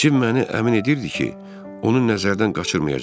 Cim məni əmin edirdi ki, onu nəzərdən qaçırmayacaqdı.